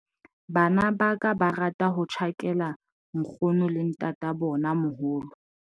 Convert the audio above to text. bana ba ka ba rata ho tjhakela nkgono le ntatabonamoholo